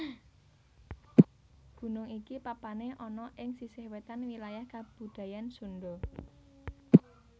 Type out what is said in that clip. Gunung iki papané ana ing sisih wétan wilayah kabudayan Sundha